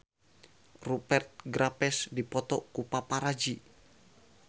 Rupert Graves dipoto ku paparazi